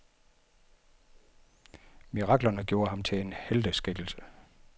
Miraklerne gjorde ham til en helteskikkelse.